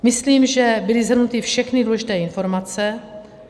Myslím, že byly shrnuty všechny důležité informace.